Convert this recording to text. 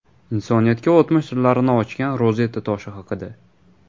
Insoniyatga o‘tmish sirlarini ochgan Rozetta toshi haqida.